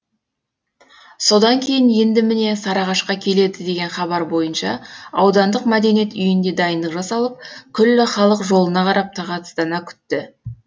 содан кейін енді міне сарыағашқа келеді деген хабар бойынша аудандық мәдениет үйінде дайындық жасалып күллі халық жолына қарап тағатсыздана күтті